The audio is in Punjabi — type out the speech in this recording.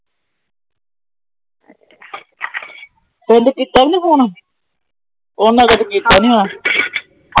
ਪਿੰਡ ਕੀਤਾ ਸੀਫੂਈ ਉਹਨਾਂ ਤਾਂ ਕੀਤਾ ਨਹੀਂ ਹੋਣਾ। ਮੰਨੀ ਗਿਆ ਸੀ ਵੀਡੀਓ ਕਾਲ ਕੀਤੀ ਸੀ। ਕੀਦਾਨ? ਪਰਸੋ।